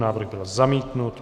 Návrh byl zamítnut.